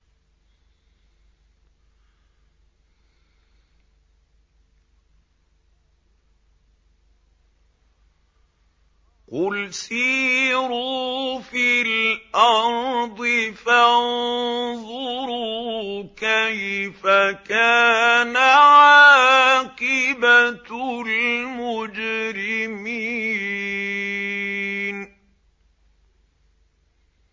قُلْ سِيرُوا فِي الْأَرْضِ فَانظُرُوا كَيْفَ كَانَ عَاقِبَةُ الْمُجْرِمِينَ